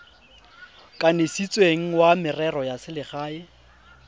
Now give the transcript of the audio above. kanisitsweng wa merero ya selegae